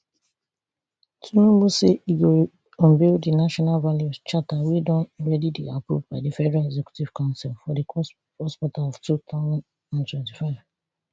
tinubu say e go unveil di national values charter wey don already dey approved by di federal executive council for di first quarter of two thousand and twenty-five